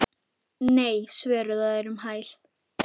Nei svöruðu þeir um hæl.